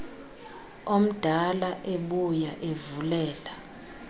omdala ebuya evulela